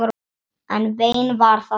En vein var það samt.